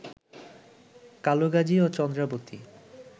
কালুগাজী ও চন্দ্রাবতী